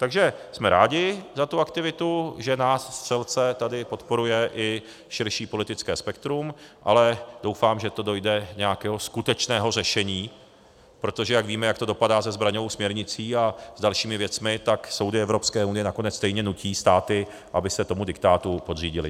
Takže jsme rádi za tu aktivitu, že nás střelce tady podporuje i širší politické spektrum, ale doufám, že to dojde nějakého skutečného řešení, protože jak víme, jak to dopadá se zbraňovou směrnicí a s dalšími věcmi, tak soudy Evropské unie nakonec stejně nutí státy, aby se tomu diktátu podřídily.